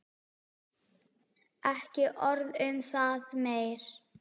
Ekki orð um það meir.